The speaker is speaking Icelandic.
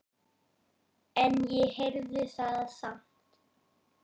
En ég heyrði það samt.